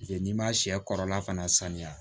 n'i ma sɛ kɔrɔla fana saniya